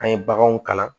An ye baganw kalan